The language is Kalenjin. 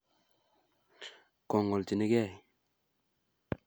Kongolchinikei